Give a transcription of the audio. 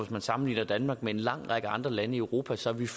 man sammenligner danmark med en lang række andre lande i europa så vil